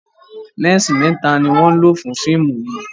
lẹnsi mẹta ní wón ló fún fíìmù yí.